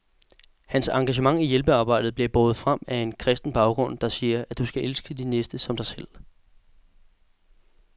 Hans engagement i hjælpearbejdet bliver båret frem af en kristen baggrund, der siger, at du skal elske din næste som dig selv.